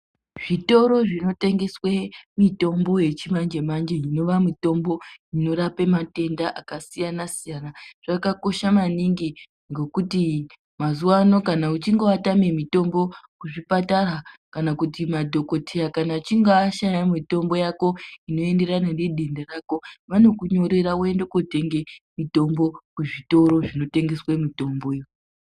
Zvitoro zvinotengeswe mitombo yechimanje-manje inova mitombo inorape matenda akasiyana-siyana zvakakosha maningi ngokuti mazuvano kana uchinge watame mitombo kuzvipatara, kana kuti madhogoteya kana achinge ashaya mitombo yako inoenderana nedenda rako, vanokunyorera woinda kuotenga mitombo kuzvitoro zvinotengese mitombo iyo.